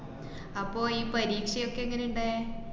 അപ്പോ ഈ പരീക്ഷയൊക്കെ എങ്ങനെയാ ഇണ്ടായെ?